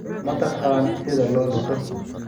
Ma taqaan sida loo liso?